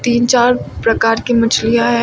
तीन चार प्रकार की मछलियां है।